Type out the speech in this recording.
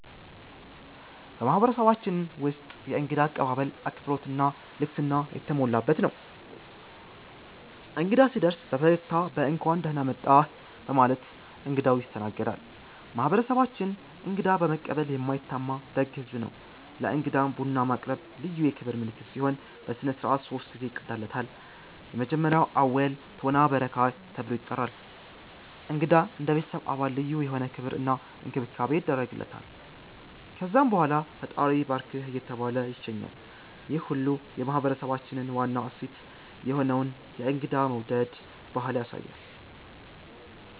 በማህበረሰባችን ውስጥ የእንግዳ አቀባበል አክብሮት እና ልግስና የተሞላበት ነው። እንግዳ ሲደርስ በፈገግታ እና በ“እንኳን ደህና መጣህ” በማለት እንግዳው ይስተናገዳል። ማህበረሰባችን እንግዳ በመቀበል የማይታማ ደግ ህዝብ ነው። ለእንግዳም ቡና ማቅረብ ልዩ የክብር ምልክት ሲሆን፣ በሥነ ሥርዓት ሶስት ጊዜ ይቀዳለታል። እንግዳ እንደ ቤተሰብ አባል ልዩ የሆነ ክብር እና እንክብካቤ ይደረግለታል። ከዛም በኋላ “ፈጣሪ ይባርክህ” እየተባለ ይሸኛል፣ ይህ ሁሉ የማህበረሰባችንን ዋና እሴት የሆነውን የእንግዳ መውደድ ባህል ያሳያል።